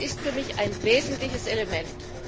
Das ist für mich ein wesentliches Element.